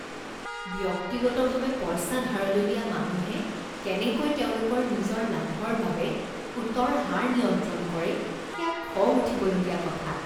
ব্যক্তিগতভাৱে পইচা ধাৰলৈ দিয়া মানুহে কেনেকৈ তেওঁলোকৰ নিজৰ লাভৰ বাবে সুতৰ হাৰ নিয়ন্ত্ৰণ কৰে সেয়া খং উঠিবলগীয়া কথা।